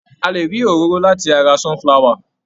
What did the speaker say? A lè rí òróró láti ara sunflower.